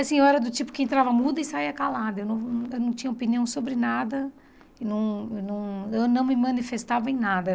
Assim, eu era do tipo que entrava muda e saía calada, eu não eu não tinha opinião sobre nada, eu não eu não eu não me manifestava em nada.